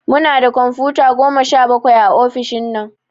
Munda kumfuta Goma sha bakwai a ofishin nan